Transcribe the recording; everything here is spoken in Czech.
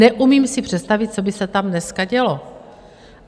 Neumím si představit, co by se tam dneska dělo.